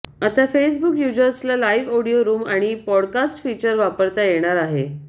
आता फेसबुक यूजर्सला live audio room आणि पॉडकास्ट फीचर वापरता येणार आहे